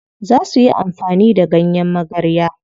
Za suyi amfani da ganyen magarya.